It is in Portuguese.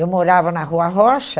Eu morava na Rua Rocha.